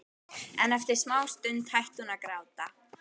En eftir smástund hætti hún að gráta.